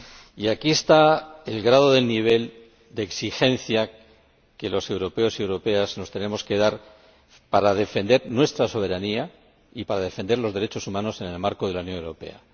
Y aquí está el grado del nivel de exigencia que los europeos y europeas nos tenemos que dar para defender nuestra soberanía y para defender los derechos humanos en el marco de la Unión Europea.